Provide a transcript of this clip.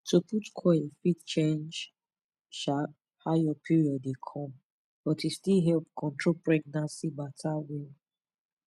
to put coil fit change um how your period dey come but e still help control pregnancy matter well.